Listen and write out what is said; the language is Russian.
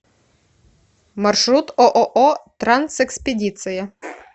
маршрут ооо трансэкспедиция